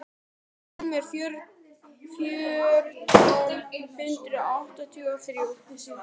númer fjórtán hundruð áttatíu og þrjú.